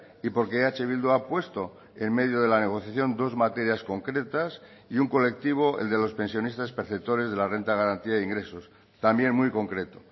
y porque eh bildu ha puesto en medio de la negociación dos materias concretas y un colectivo el de los pensionistas perceptores de la renta de garantía de ingresos también muy concreto